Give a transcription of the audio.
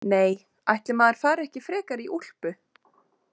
Nei, ætli maður fari ekki frekar í úlpu.